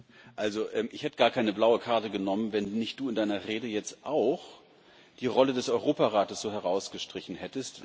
Also ich hätte gar keine blaue Karte genommen, wenn nicht du in deiner Rede jetzt auch die Rolle des Europarates so herausgestrichen hättest